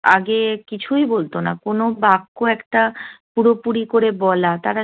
আগে কিছুই বলত না। কোন বাক্য একটা পুরোপুরি করে বলা